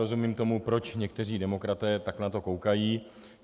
Rozumím tomu, proč někteří demokraté na to tak koukají.